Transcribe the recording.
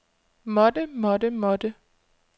måtte måtte måtte